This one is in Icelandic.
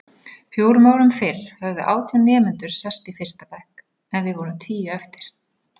Fjórum árum fyrr höfðu átján nemendur sest í fyrsta bekk en við vorum tíu eftir.